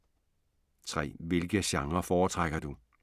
3) Hvilke genrer foretrækker du?